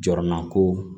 Jɔrɔman ko